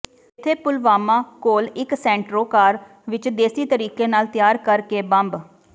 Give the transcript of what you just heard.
ਇੱਥੇ ਪੁਲਵਾਮਾ ਕੋਲ ਇੱਕ ਸੈਂਟਰੋ ਕਾਰ ਵਿੱਚ ਦੇਸੀ ਤਰੀਕੇ ਨਾਲ ਤਿਆਰ ਕਰ ਕੇ ਬੰਬ